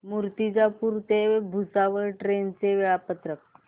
मूर्तिजापूर ते भुसावळ ट्रेन चे वेळापत्रक